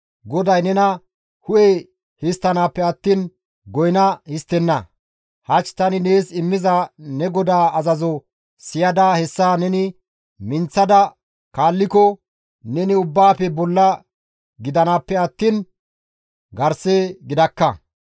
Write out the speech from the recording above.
GODAY nena hu7e histtanappe attiin goyna histtenna; hach tani nees immiza ne GODAA azazo siyada hessa neni minththada kaalliko neni ubbaafe bolla gidanaappe attiin garse gidakka.